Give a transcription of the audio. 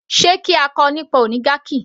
Sé kí a kọ nípa oligarchy